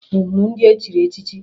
Ị hụrụ ndị ahụ e chiri echichi?